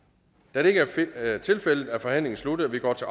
da det ikke er tilfældet er forhandlingen sluttet og vi går til